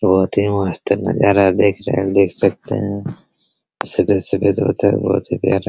बहुत ही मस्त नज़ारा देख रहे देख सकते हैं | सुबह सुबह बहुत ही प्यारा --